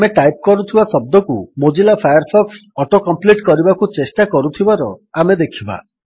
ଆମେ ଟାଇପ୍ କରୁଥିବା ଶବ୍ଦକୁ ମୋଜିଲା ଫାୟାରଫକ୍ସ ଅଟୋ କମ୍ପ୍ଲିଟ୍ କରିବାକୁ ଚେଷ୍ଟା କରୁଥିବାର ଆମେ ଦେଖିବା